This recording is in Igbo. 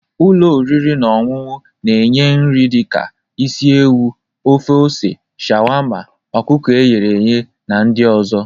Ụlọ oriri na ọṅụṅụ na-enye nri dị ka isi ewu, ofe ose, sharwarmma, ọkụkọ eghe na ndị ọzọ.